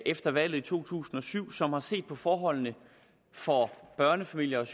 efter valget i to tusind og syv og som har set på forholdene for børnefamilierne